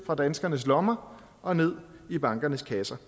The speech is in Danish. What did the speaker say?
fra danskernes lommer og ned i bankernes kasser